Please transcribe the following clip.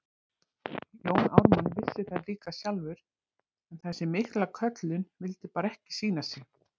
Jón Ármann vissi það líka sjálfur, en þessi mikla köllun vildi bara ekki sýna sig.